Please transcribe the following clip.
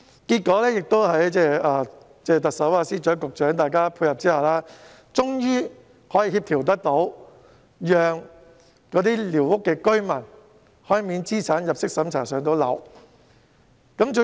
結果在特首、司長和局長的配合下，各方終能協調，讓寮屋居民免資產及入息審查"上樓"。